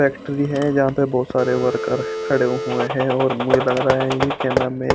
Factory है जहा पर बहोत सारे वर्कर खडे हुए है और मुझे लग रहा है ये के नाम है।